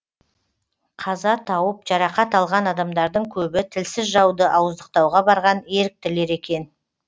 қаза тауып жарақат алған адамдардың көбі тілсіз жауды ауыздықтауға барған еріктілер екен